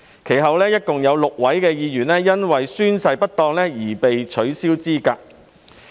其後，共有6名議員因宣誓不當而被取消資格。